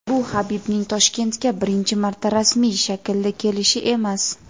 bu Habibning Toshkentga birinchi marta rasmiy shaklda kelishi emas.